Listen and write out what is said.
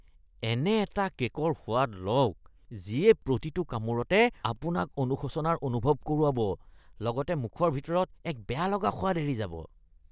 এনে এটা কে'কৰ সোৱাদ লওক যিয়ে প্ৰতিটো কামোৰতে আপোনাক অনুশোচনাৰ অনুভৱ কৰোৱাব, লগতে মুখৰ ভিতৰত এক বেয়ালগা সোৱাদ এৰি যাব।